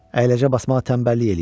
Əyləcə basmağa tənbəllik eləyir.